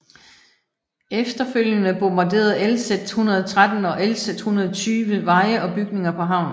Efterfølgende bombarderede LZ 113 og LZ 120 veje og bygninger på havnen